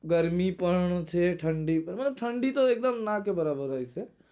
ગરમી પણ છે ઠંડી પણ ઠંડી તો એક્દમ ના કે બરાબર હોય છે